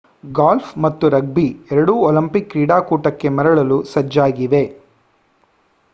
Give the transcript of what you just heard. golf ಮತ್ತು rugby ಎರಡೂ Olympic ಕ್ರೀಡಾಕೂಟಕ್ಕೆ ಮರಳಲು ಸಜ್ಜಾಗಿವೆ